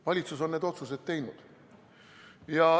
Valitsus on need otsused teinud.